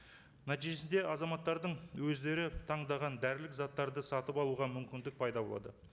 нәтижесінде азаматтардың өздері таңдаған дәрілік заттарды сатып алуға мүмкіндік пайда болады